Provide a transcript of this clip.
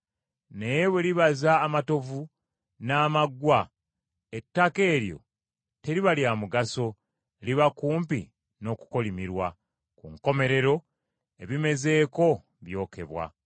Naye bwe libaza amatovu, n’amaggwa, ettaka eryo teriba lya mugaso liba kumpi n’okukolimirwa. Ku nkomerero, ebimezeeko byokebwa.